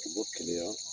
U bɔ kɛnɛya